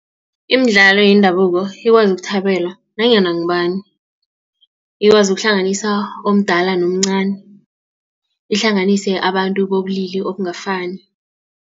Imidlalo yendabuko ikwazi kuthabelwa nanyana ngubani. Ikwazi ukuhlanganisa omdala nomcani ihlanganise abantu bobulili obungafaniko.